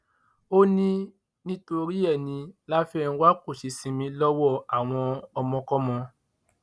ó ní nítorí ẹ ní láfẹnwà kò ṣe sinmi lọwọ àwọn ọmọkọmọ